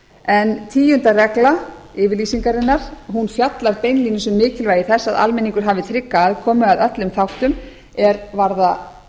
en tíundi regla yfirlýsingarinnar fjallar beinlínis um mikilvægi þess að almenningur hafi trygga aðkomu að öllum þáttum er varða